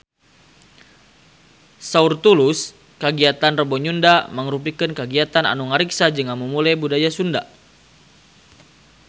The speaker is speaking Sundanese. Saur Tulus kagiatan Rebo Nyunda mangrupikeun kagiatan anu ngariksa jeung ngamumule budaya Sunda